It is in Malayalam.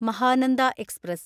മഹാനന്ദ എക്സ്പ്രസ്